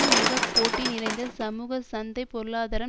மிக போட்டி நிறைந்த சமூக சந்தை பொருளாதாரம்